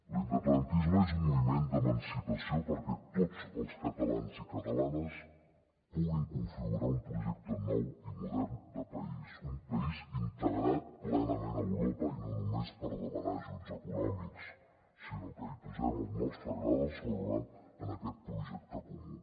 l’independentisme és un moviment d’emancipació perquè tots els catalans i ca·talanes puguin configurar un projecte nou i modern de país un país integrat plena·ment a europa i no només per demanar ajuts econòmics sinó que posem el nostre gra de sorra en aquest projecte comú